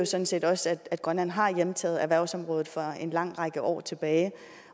sådan set også at grønland har hjemtaget erhvervsområdet for en lang række år tilbage